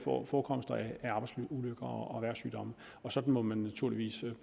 forekomster af arbejdsulykker og erhvervssygdomme sådan må man naturligvis